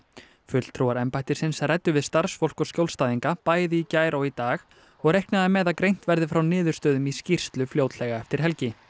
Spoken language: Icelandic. fulltrúar embættisins ræddu við starfsfólk og skjólstæðinga bæði í gær og í dag og reiknað er með að greint verði frá niðurstöðum í skýrslu fljótlega eftir helgi